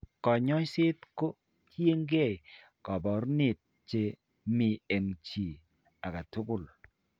Kanyoiset ko tiyekeey kaabarunet che mi eng' chi ake tugul.